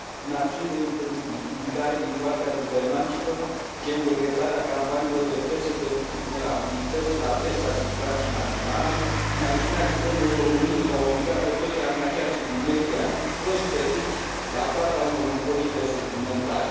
Prin acțiuni de intimidare din partea guvernanților, gen decretarea campaniilor de presă de vulnerabilități la adresa siguranței naționale, prin acțiunea Guvernului României de a i obliga pe toți angajații din media, prost plătiți, la plata unor impozite suplimentare